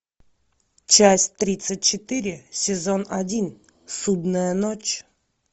часть тридцать четыре сезон один судная ночь